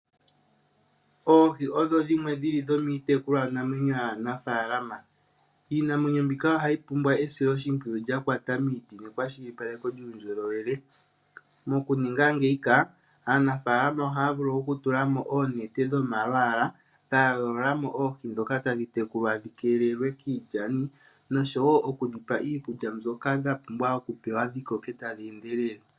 Oohi odho dhimwe dhili dhomiitekulwa namwenyo yaanafaalama. Iinamwenyo mbika ohayi pumbwa esiloshimpwiyu lya kwata miiti nekwashilipako yuundjolowele mokuninga ngeika, aanafaalama ohaya vulu oku tula mo oonete dhomalwaala dha yoolola mo oohi ndhoka tadhi tekulwa dhi keelelwe kiilyani noshowo oku dhi pa iikulya mbyoka dha pumbwa oku pewa dhi koke tadhi endelele.